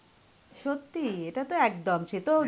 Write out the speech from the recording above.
সত্যি, এটাতো একদম, সেতো.